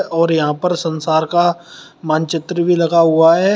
और यहां पर संसार का मानचित्र भी लगा हुआ है।